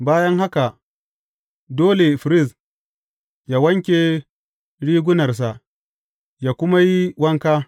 Bayan haka, dole firist yă wanke rigunarsa, yă kuma yi wanka.